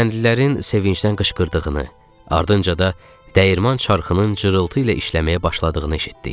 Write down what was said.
Kəndlilərin sevinclə qışqırdığını, ardınca da dəyirman çərxının cırıltı ilə işləməyə başladığını eşitdik.